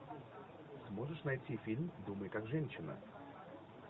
можешь найти фильм думай как женщина